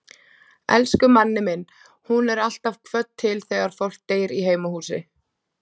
Elsku Manni minn, hún er alltaf kvödd til þegar fólk deyr í heimahúsi.